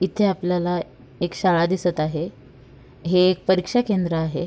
इथे आपल्याला एक शाळा दिसत आहे हे एक परीक्षा केंद्र आहे.